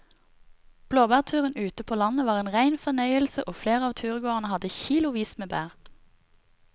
Blåbærturen ute på landet var en rein fornøyelse og flere av turgåerene hadde kilosvis med bær.